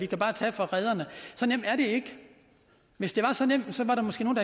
kan tage fra rederne så nemt er det ikke hvis det var så nemt var der måske nogle